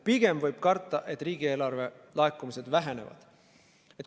Pigem võib karta, et riigieelarve laekumised vähenevad.